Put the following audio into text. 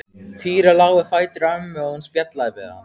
Týri lá við fætur ömmu og hún spjallaði við hann.